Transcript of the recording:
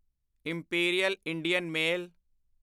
imperial Indian male